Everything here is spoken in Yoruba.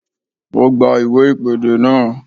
Ó gba iwe ìpèdè náà